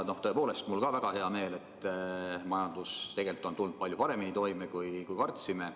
Tõepoolest, mul ka väga hea meel, et majandus tegelikult on tulnud palju paremini toime, kui me kartsime.